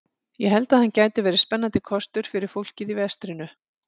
Ég held að hann gæti verið spennandi kostur fyrir fólkið í vestrinu.